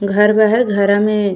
घर बा है। घरा में --